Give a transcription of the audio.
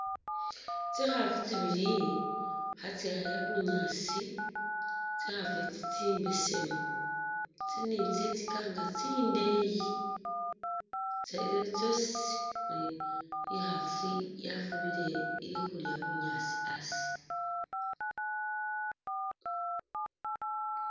Tsi khafu tsi bili kha tsaya bunyaasi, tsi khafu itsi tsi mbesemu tsili ni tsi tsika nga tsindeeyi,i khasi yafubile ili khulya bunyaasi asi.